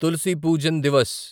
Tulsi Pujan Divas